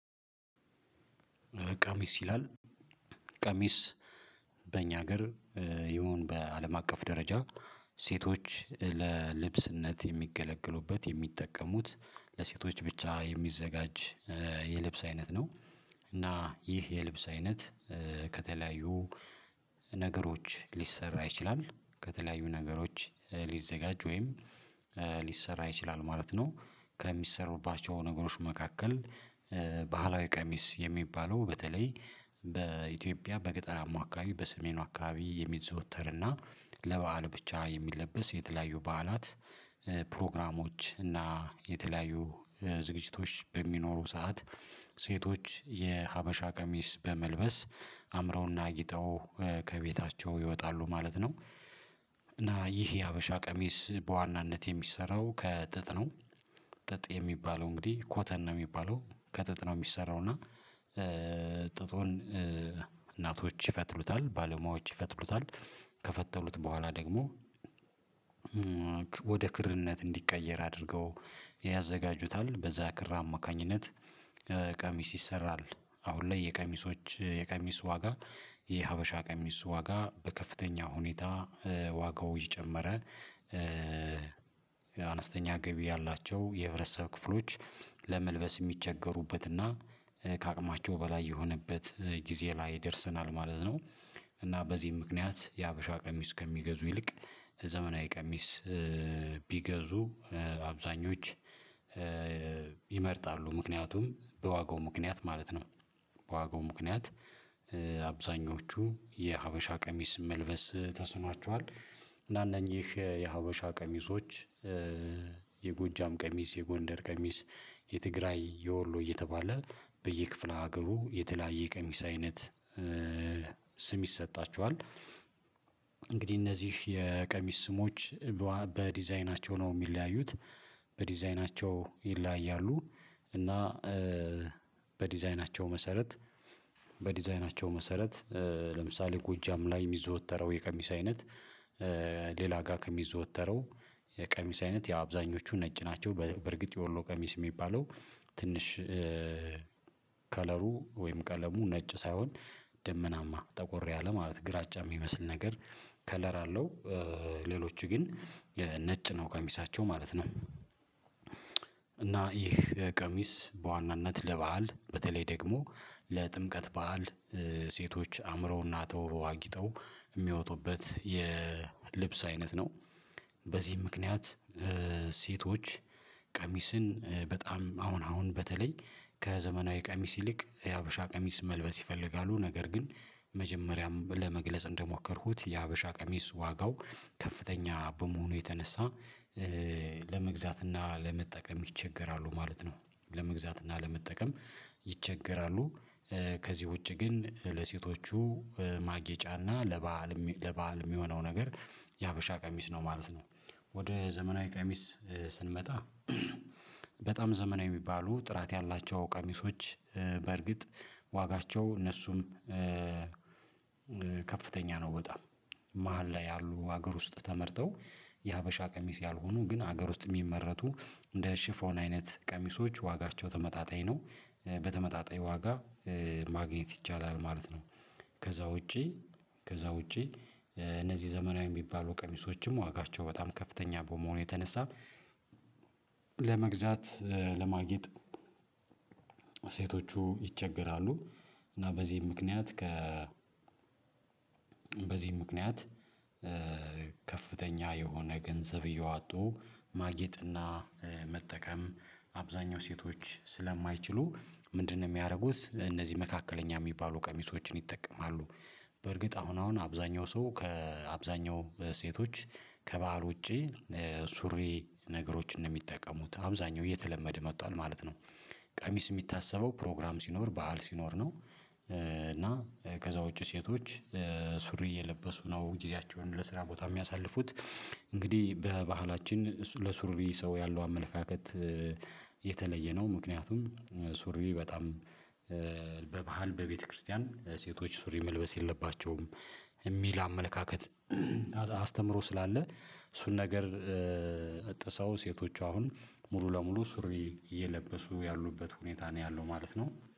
ቀሚስ ይላል ቀሚስ በእኛ ሀገር ይሁን በአለም አቀፍ ደረጃ ሴቶች ለልብስነት የሚገለገሉበት የሚጠቀሙት ለሴቶች ብቻ የሚዘጋጅ የልብስ አይነት ነው። እና ይህ የልብስ አይነት ከተለያዩ ነገሮች ሊሰራ ይችላል። ከተለያዩ ነገሮች ሊዘጋጅ ወይም ሊሰራ ይችላል ማለት ነው ከሚሰሩባቸው ነገሮች መካከል ባህላዊ ቀሚስ የሚባለው በተለይ በኢትዮጵያ በገጠራማ አካባቢ በሰሜኑ አካባቢ የሚዘወተርና ለባህል ብቻ የሚለበስ የተለያዩ በዓላት ፕሮግራሞች እና የተለያዩ ዝግጅቶች በሚኖሩ ሰዓት ሴቶች የሀበሻ ቀሚስ በመልበስ አምረውና አጊጠው ከቤታቸው ይወጣሉ ማለት ነው። እና ይህ የሀበሻ ቀሚስ በዋናነት የሚሰራው ከጥጥ ነው። ጥጥ የሚባለው እንግዲህ ኮተን ነው ሚባለው ከጥጥ ነው ሚሰራው እና ጥጡን እናቶች ይፈትሉታል ባለሙያዎች ይፈትሉታል ከፈተሉት በኋላ ደግሞ ወደ ክርነት እንዲቀየር አድርገው ያዘጋጁታል። በዛ ክር አማካኝነት ቀሚስ ይሰራል። አሁን ላይ የቀሚሶች የቀሚስ ዋጋ የሀበሻ ቀሚስ ዋጋ በከፍተኛ ሁኔታ ዋጋው እየጨመረ አነስተኛ ገቢ ያላቸው የህብረተሰብ ክፍሎች ለመልበስ የሚቸገሩበትና ከአቅማቸው በላይ የሆነበት ጊዜ ላይ ይደርሰናል ማለት ነው። እና በዚህም ምክንያት የሀበሻ ቀሚስ ከሚገዙ ይልቅ ዘመናዊ ቀሚስ ቢገዙ አብዛኞች ይመርጣሉ ምክንያቱም በዋጋው ምክንያት ማለት ነው በዋጋው ምክንያት አብዛኞቹ የሀበሻ ቀሚስ መልበስ ተስኗቸዋል። እና እነኚህ የሀበሻ ቀሚሶች የጎጃም ቀሚስ፣ የጎንደር ቀሚስ፣ የትግራይ፣ የወሎ እየተባለ በየክፍለ ሀገሩ የተለያየ ቀሚስ አይነት ስም ይሰጣቸዋል። እንግዲህ እነዚህ የቀሚስ ስሞች በዲዛይናቸው ነው ሚለያዩት በዲዛይናቸው ይለያያሉ እና በዲዛይናቸው መሰረት በዲዛይናቸው መሰረት ለምሳሌ ጎጃም ላይ የሚዘወተረው የቀሚስ አይነት ሌላ ጋር ከሚዘወተረው የቀሚስ አይነት የአብዛኞቹ ነጭ ናቸው በርግጥ የወሎ ቀሚስ የሚባለው ትንሽ ከለሩ ወይም ቀለሙ ነጭ ሳይሆን ደመናማ ጠቆር ያለ ማለት ግራጫ ሚመስል ነገር ከለር አለው። ሌሎች ግን ነጭ ነው ቀሚሳቸው ማለት ነው እና ይህ ቀሚስ በዋናነት ለባህል በተለይ ደግሞ ለጥምቀት ባህል ሴቶች አምረውና ተውበው አጊጠው ሚወጡበት የልብስ አይነት ነው። በዚህ ምክንያት ሴቶች ቀሚስን በጣም አሁን አሁን በተለይ ከዘመናዊ ቀሚስ ይልቅ የሀበሻ ቀሚስ መልበስ ይፈልጋሉ ነገር ግን መጀመሪያም ለመግለጽ እንደሞከርኩት የሀበሻ ቀሚስ ዋጋው ከፍተኛ በመሆኑ የተነሳ ለመግዛት እና ለመጠቀም ይቸገራሉ ማለት ነው ለመግዛት እና ለመጠቀም ይቸገራሉ። ከዚህ ውጪ ግን ለሴቶቹ ማጌጫና ለበአል ለበአል የሚሆነው ነገር የሀበሻ ቀሚስ ነው ማለት ነው። ወደ ዘመናዊ ቀሚስ ስንመጣ በጣም ዘመናዊ ሚባሉ ጥራት ያላቸው ቀሚሶች በእርግጥ ዋጋቸው እነሱም ከፍተኛ ነው በጣም መሃል ላይ ያሉ ሀገር ውስጥ ተመርተው የሀበሻ ቀሚስ ያልሆኑ ግን ሀገር ውስጥ የሚመረቱ እንደ ሽፎን አይነት ቀሚሶች ዋጋቸው ተመጣጣኝ ነው። በተመጣጣኝ ዋጋ ማግኘት ይቻላል ማለት ነው። ከዛ ውጪ ከዛ ውጪ እነዚህ ዘመናዊ ሚባሉ ቀሚሶችም ዋጋቸው በጣም ከፍተኛ በመሆኑ የተነሳ ለመግዛት ለማጌጥ ሴቶቹ ይቸገራሉ እና በዚህ ምክንያት ከ በዚህ ምክንያት የሆነ ገንዘብ እያወጡ ማጌጥና መጠቀም አብዛኛው ሴቶች ስለማይችሉ ምንድነው ሚያደርጉት እነዚህ መካከለኛ የሚባሉ ቀሚሶችን ይጠቀማሉ። በእርግጥ አሁን አሁን አብዛኛው ሰው ከአብዛኛው ሴቶች ከበዓል ውጪ ሱሪ ነገሮችን ነው ሚጠቀሙት አብዛኛው እየተለመደ መጥቷል ማለት ነው። ቀሚስ ሚታሰበው ፕሮግራም ሲኖር ባህል ሲኖር ነው እና ከዛ ውጪ ሴቶች ሱሪ እየለበሱ ነው ጊዜያቸውን ለስራ ቦታ የሚያሳልፉት እንግዲህ በባህላችን ለሱሪ ሰው ያለው አመለካከት የተለየ ነው ምክንያቱም ሱሪ በጣም በባህል በቤተክርስቲያን ሴቶች ሱሪ መልበስ የለባቸውም። እሚል አመለካከት አስተምሮ ስላለ እሱን ነገር ጥሰው ሴቶች አሁን ሙሉ ለሙሉ ሱሪ እየለበሱ ያሉበት ሁኔታ ነው ያለው ማለት ነው።